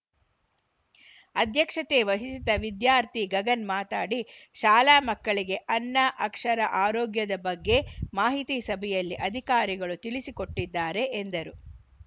ಅಧ್ಯಕ್ಷತೆ ವಹಿಸಿದ್ದ ವಿದ್ಯಾರ್ಥಿ ಗಗನ್‌ ಮಾತನಾಡಿ ಶಾಲಾ ಮಕ್ಕಳಿಗೆ ಅನ್ನ ಅಕ್ಷರ ಆರೋಗ್ಯದ ಬಗ್ಗೆ ಮಾಹಿತಿ ಸಭೆಯಲ್ಲಿ ಅಧಿಕಾರಿಗಳು ತಿಳಿಸಿ ಕೊಟ್ಟಿದ್ದಾರೆ ಎಂದರು